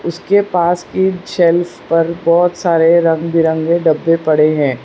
इसके पास की सेल्फ पर बहुत सारे रंग-बिरंगे डब्बे पड़े हैं।